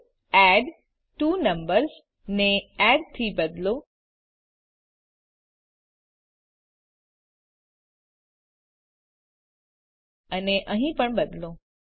તો એડટ્વોનંબર્સ ને એડ થી બદલો અને અહીં પણ બદલો